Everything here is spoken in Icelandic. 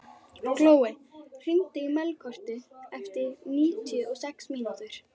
Glói, hringdu í Melkorku eftir níutíu og sex mínútur.